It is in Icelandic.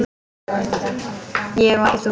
Ég og ekki þú.